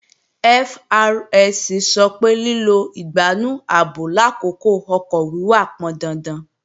FRSC sọ pé lílo ìgbánú ààbò làkókò ọkọ̀ wíwà pọndandan